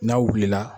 N'a wulila